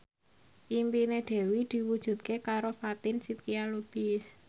impine Dewi diwujudke karo Fatin Shidqia Lubis